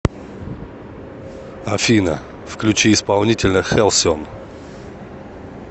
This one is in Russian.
афина включи исполнителя хэлсион